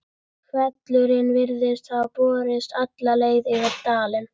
Hvellurinn hefði borist alla leið yfir dalinn.